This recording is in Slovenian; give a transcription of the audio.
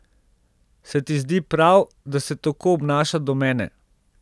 Se ti zdi prav, da se tako obnaša do mene?